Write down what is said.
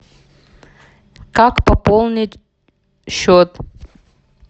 как пополнить счет